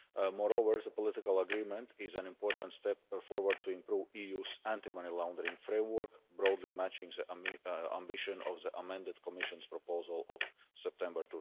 Moreover, as a political agreement it is an important step forward to improve the EU's anti money laundering framework, broadly matching the ambition of the amended Commission proposal of September